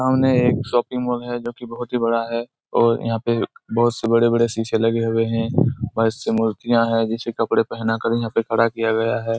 सामने एक shopping mall है जोकि बहुत ही बड़ा है और यहाँ पे बहुत से बड़े-बड़े सीसे लगे हुए है बहुत से मूर्तियाँ है जिसे कपड़े पहना कर यहाँ पर खड़ा कियाा हुआ हैं।